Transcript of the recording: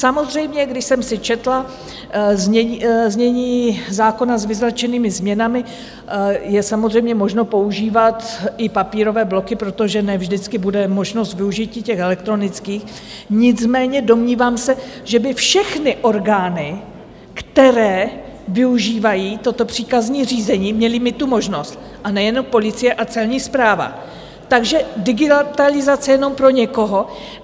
Samozřejmě, když jsem si četla znění zákona s vyznačenými změnami, je samozřejmě možno používat i papírové bloky, protože ne vždycky bude možnost využití těch elektronických, nicméně domnívám se, že by všechny orgány, které využívají toto příkazní řízení, měly mít tu možnost, a nejenom policie a celní správa, takže digitalizace jenom pro někoho.